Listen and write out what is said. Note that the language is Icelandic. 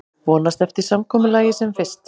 Vonast eftir samkomulagi sem fyrst